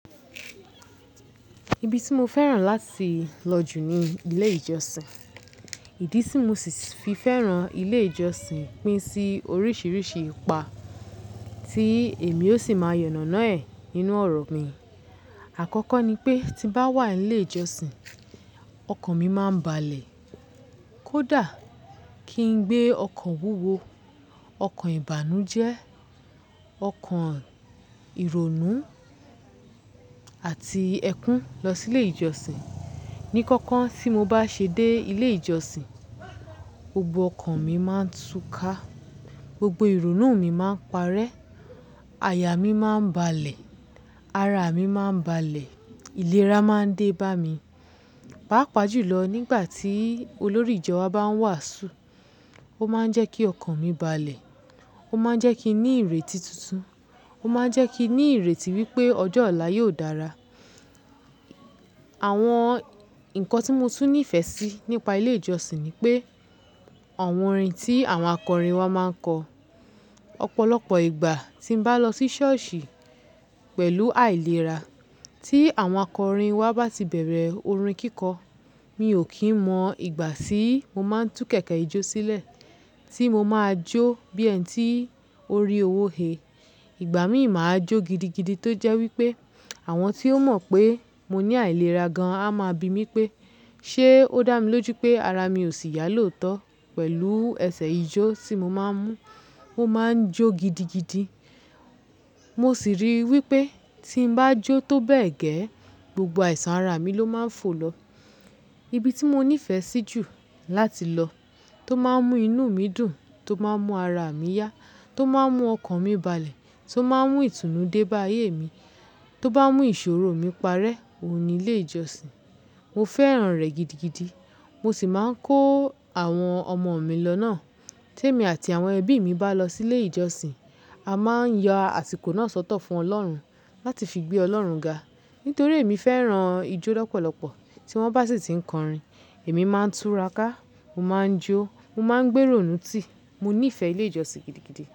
Ibi tí mo fẹ́ràn láti lọ jù ni ilé ìjọsìn. Ìdí tí mo sì fi fẹ́ràn ilé ìjọsìn pín sí oríṣiríṣi ipa tí èmi ó sì máa yànnàná ẹ̀ nínú ọ̀rọ̀ mi. Àkọ́kọ́ ni pé tí bá wà nílé ìjọsìn, ọkàn mi máa ń balẹ̀. Kódà kí n gbé ọkàn wúwo, ọkàn ìbànújẹ́, ọkàn ìrònú àti ẹ̀kún lọ sílé ìjọsìn. Ní kankan tí mo bá ṣe dé ilé ìjọsìn, gbogbo ọkàn mi máa ń túká, gbogbo ìrònú mi máa ń parẹ́, àyà mí máa ń balẹ̀, ara mi máa ń balẹ̀, ìlera máa ń dé bá mi. Pápà jùlọ nígbà tí olórí ìjọ wa bá ń wàásù, ó máa ń jẹ́ kí ọkàn mi balẹ̀, ó máa ń jẹ́ kí n ní ìrètí tuntun, ó máa ń jẹ́ kí n ní ìrètí wípé ọjọ́ ọ̀la yóò dára. Àwọn ǹkan tí mo tún nífẹ̀ẹ́ sí nípa ilé ìjọsìn ni pé àwọn orin tí àwọn akọrin wa máa ń kọ. Ọ̀pọ̀lọpọ̀ ìgbà tí bá lọ sí ṣọ́ọ̀ṣì pẹ̀lú àìlera, tí àwọn akọrin wa bá ti bẹ̀rẹ̀ orin kíkọ, mi ò kí ń mọ ìgbà síí mo máa ń tú kẹ̀kẹ́ ijó sílẹ̀ tí mo máa jó bí ẹni tí ó rí owó he. Ìgbà míì máa jó gidigidi tó jẹ́ wípé àwọn tí ó mọ̀ pé mo ní àìlera gan an á máa bi mí pé ṣé ó dà mí lójú pé ara mi ò sì yálòtọ́ pẹ̀lú ẹsẹ̀ ijó tí mo máa ń mú ó máa ń jó gidigidi. Mo sì rí i wípé tí ń bá jó tó bẹ́ẹ̀ gẹ́, gbogbo àìsàn ara mi ló máa ń fò lọ. Ibi tí mo nífẹ̀ẹ́ sí jù láti lọ, tó máa ń mú inú mi dùn, tó máa ń mú ara mi yá, tó máa ń mú ọkàn mi balẹ̀, tó máa ń mú ìtùnú dé bá ayé mi, tó bá mú ìṣòro mi parẹ́, òun ni ilé ìjọsìn. Mo fẹ́ràn rẹ̀ gidigidi. Mo sì máa ń kó àwọn ọmọ mi lọ náà. Tí èmi àti àwọn ẹbí mi bá lọ sílé ìjọsìn, a máa ń yọ àsìkò náà sọ́tọ̀ fún Ọlọ́run láti fi gbé Ọlọ́run ga. Nítorí èmi fẹ́ràn ijó lọ́pọ̀lọpọ̀, tí wọ́n bá sì ti ń kọrin, èmi máa ń túra ká, mo máa ń jó, mo máa ń gbé ìrònú tì. Mo nífẹ̀ẹ́ ilé ìjọsìn gidigidi.